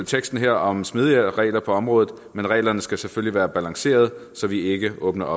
teksten her om smidigere regler på området men reglerne skal selvfølgelig være balancerede så vi ikke åbner